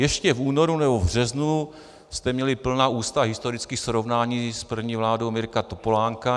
Ještě v únoru nebo v březnu jste měli plná ústa historických srovnání s první vládou Mirka Topolánka.